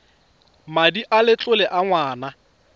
madi a letlole a ngwana